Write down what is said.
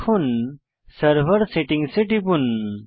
এখন server settings এ টিপুন